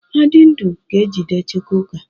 Adindu ga-ejide Chukwuka.